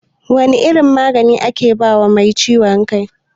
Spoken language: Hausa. Wane irin magani ake bawa mai ciwon kai?